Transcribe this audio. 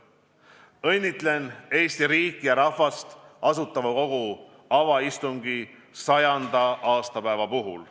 Õnnitlen Eesti riiki ja rahvast Asutava Kogu avaistungi 100. aastapäeva puhul.